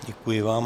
Děkuji vám.